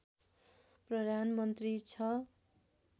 प्रधानमन्त्री छ